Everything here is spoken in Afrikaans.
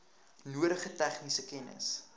nodige tegniese kennis